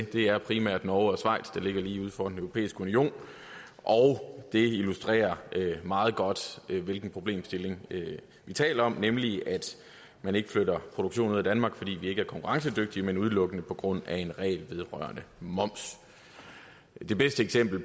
det er primært norge og schweiz der ligger lige uden for den europæiske union det illustrerer meget godt hvilken problemstilling vi taler om nemlig at man ikke flytter produktionen ud af danmark fordi vi ikke er konkurrencedygtige men udelukkende på grund af en regel vedrørende moms det bedste eksempel